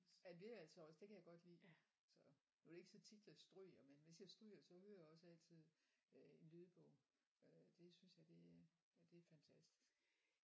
Ja det er altså også det kan jeg godt lide så nu er det ikke så tit jeg stryger men hvis jeg stryger så hører jeg også altid øh en lydbog øh det synes jeg det ja det er fantastisk